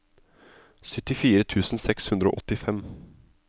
syttifire tusen seks hundre og åttifem